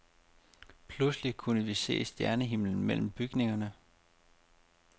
Pludselig kunne vi se stjernehimlen mellem bygningerne.